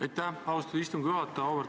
Aitäh, austatud istungi juhataja!